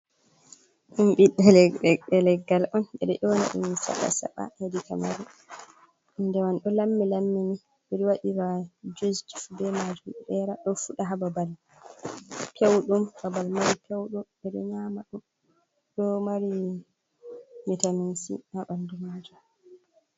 Ɗumbiɓɓe leggal on ɓeɗo dyona ɗum saba saba hedi kamaru Hunde man ɗow lammi lammini, ɓiɗo waɗira juice be majun ɗera ɗo fuɗa ha babal pewɗum babal mari pyeuɗum ɓeɗo nyama ɗum ɗou mari vitamin c aɓandu majum.